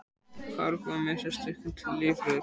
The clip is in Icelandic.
Hárlokkurinn með sérstakan lífvörð